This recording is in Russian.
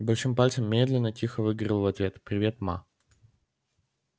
и большим пальцем медленно тихо выговорил в ответ привет ма